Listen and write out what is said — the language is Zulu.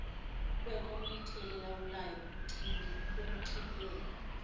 kwekomidi elilawulayo ukuchibiyela